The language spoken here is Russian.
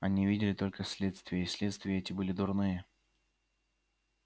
они видели только следствия и следствия эти были дурные